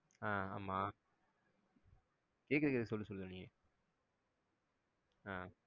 ஆஹ் ஆமா கேக்குது கேக்குது சொல்லு சொல்லு நீ ஆஹ்